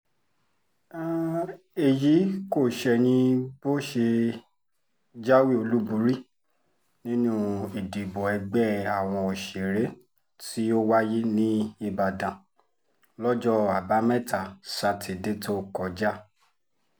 èyí kò ṣẹ̀yìn bó ṣe jáwé olúborí nínú ìdìbò ẹgbẹ́ àwọn òṣèré tó wáyé níìbàdàn lọ́jọ́ àbámẹ́ta sátidé tó kọjá